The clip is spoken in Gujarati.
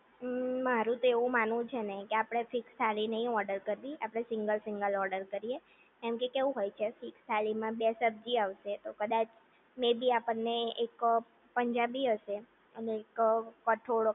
ઉમ્મ મારું તો એવું માનવું છે ને કે આપણે ફિક્સ થાળી નહિ ઓર્ડર કરવી આપણે સિંગલ સિંગલ ઓર્ડર કરીએ કેમ કે કેવું હોય છે કે થાળીમાં બે સબજી આવશે તો કદાચ મેં ભી આપણને એક પંજાબી હશે અને એક કઠોળ